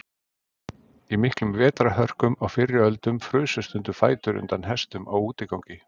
í miklum vetrarhörkum á fyrri öldum frusu stundum fætur undan hestum á útigangi